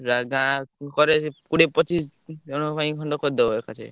ପୁରା ଗାଁ କରେ କୁଦିଏ ପଚିସ୍ ଜଣଙ୍କ ପାଇଁ କରିଦବ ଏକା ଥରେ।